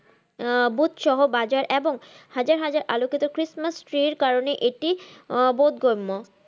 আহ booth সহ বাজার এবং হাজার হাজার আলোকিত christmas tree এর কারনে এটি আহ বোধগম্য।